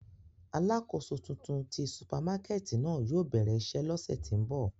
Alakoso tuntun ti supamakẹti náa yóò bẹrẹ iṣẹ lọsẹ ti n bọ.